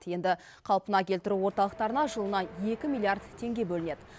енді қалпына келтіру орталықтарына жылына екі миллиард теңге бөлінеді